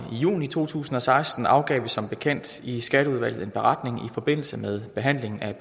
juni to tusind og seksten afgav vi som bekendt i skatteudvalget en beretning i forbindelse med behandlingen af